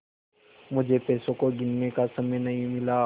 मुझे पैसों को गिनने का समय नहीं मिला